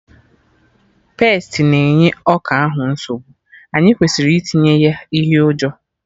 Pestị na-enye ọka ahụ nsogbu, anyị kwesịrị itinye ihe ụjọ